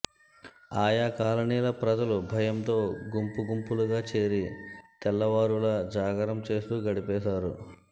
ఆయా కాలనీల ప్రజలు భయంతో గుంపు గుంపులుగా చేరి తెల్లవారూల జాగారం చేస్తూ గడిపేశారు